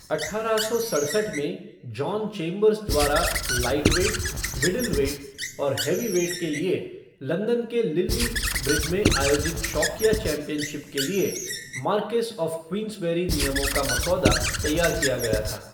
अठारह सौ सड़सठ में, जॉन चेम्बर्स द्वारा लाइटवेट, मिडलवेट और हैवीवेट के लिए लंदन के लिल्ली ब्रिज में आयोजित शौकिया चैंपियनशिप के लिए मार्क्वेस ऑफ़ क्वींसबेरी नियमों का मसौदा तैयार किया गया था।